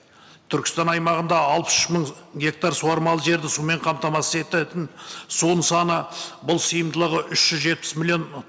түркістан аймағында алпыс үш мың гектар суармалы жерді сумен қамтамасыз ететін судың саны бұл сиымдылығы үш жүз жетпіс миллион